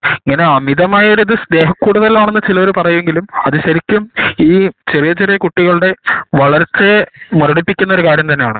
ഇങ്ങനെ അമിതമായാൽ സ്നേഹ കൊടുത്താണ് ആണെന്ന് ചിലർ പറയെങ്കിലും അത് ശെരിക്കും ഈ ചെറിയ ചെറിയ കുട്ടികളുടെ വളർച്ചയെ മുരടിപ്പിക്കുന്ന ഒരു കാര്യം തന്നെ ആണ്